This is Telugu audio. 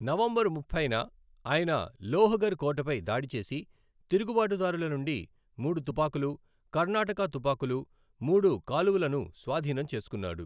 నవంబర్ ముప్పైన ఆయన లోహఘర్ కోటపై దాడి చేసి తిరుగుబాటుదారుల నుండి మూడు తుపాకులు, కర్ణాటక తుపాకులు, మూడు కాలువలను స్వాధీనం చేసుకున్నాడు.